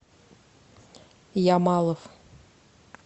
ямалов